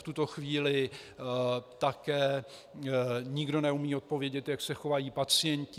V tuto chvíli také nikdo neumí odpovědět, jak se chovají pacienti.